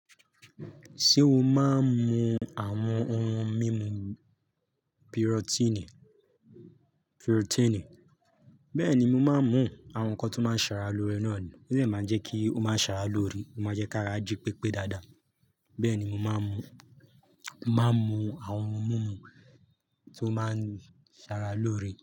Ṣé o máa ń mu àwọn ohun mímu pírótínì? Bẹ́ẹ̀ni, mo máa ń mu àwọn nǹkan tó máa ń ṣe ara lóore náà ni ó de máa ń jẹ́ kí ó máa ṣàrà lóore. Ó máa ń jẹ́ kí ara jí pépé dáadáa. Bẹ́ẹ̀ni, mo máa ń mu, màá n mu àwọn ohun mímu tó máa ń ṣara lóore.